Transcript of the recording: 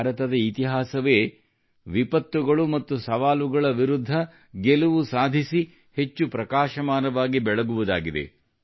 ಭಾರತದ ಇತಿಹಾಸವೇ ವಿಪತ್ತುಗಳು ಮತ್ತು ಸವಾಲುಗಳ ವಿರುದ್ಧ ಗೆಲುವು ಸಾಧಿಸಿ ಹೆಚ್ಚು ಪ್ರಕಾಶಮಾನವಾಗಿ ಬೆಳಗುವುದಾಗಿದೆ